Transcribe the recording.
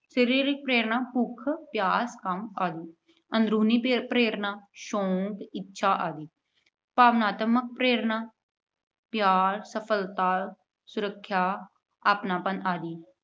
ਸਰੀਰਕ ਪ੍ਰੇਰਨਾ- ਭੁੱਖ, ਪਿਆਸ, ਕੰਮ ਆਦਿ। ਅੰਦਰੂਨੀ ਪ੍ਰੇ ਅਹ ਪ੍ਰੇਰਨਾ- ਸ਼ੌਂਕ, ਇੱਛਾ ਆਦਿ। ਭਾਵਨਾਤਮਕ ਪ੍ਰੇਰਨਾ- ਪਿਆਰ, ਸਫਲਤਾ, ਸੁਰੱਖਿਆ, ਅਪਣਾਪਣ ਆਦਿ।